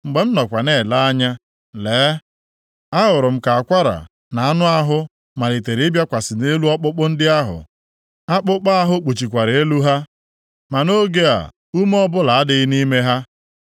Mgbe m nọkwa na-ele anya, lee, ahụrụ m ka akwara na anụ ahụ malitere ịbịakwasị nʼelu ọkpụkpụ ndị ahụ, akpụkpọ ahụ kpuchikwara elu ha. Ma nʼoge a ume ọbụla adịghị nʼime ha.